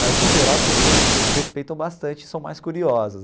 Mas, no geral, as pessoas respeitam bastante e são mais curiosas.